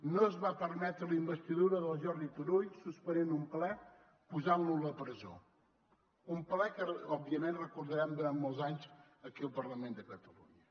no es va permetre la investidura del jordi turull suspenent un ple i posant lo a la presó un ple que òbviament recordarem durant molts anys aquí al parlament de catalunya